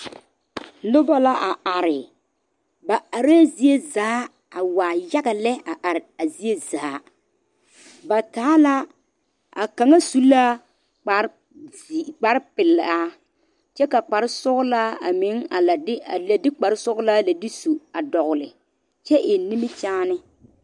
Noba la a are ba are zie a waa yaga lɛ a are a zie zaa ba taa la a kaŋa su la kpare zii kpare pelaa kyɛ ka kpare sɔglaa a meŋ a lɛ de a lɛ de kpare sɔglaa lɛ de su a dogle kyɛ eŋ nimikyaane.